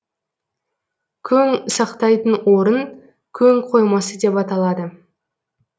көң сақтайтын орын көң қоймасы деп аталады